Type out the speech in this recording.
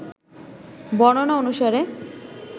বর্ণনা অনুসারে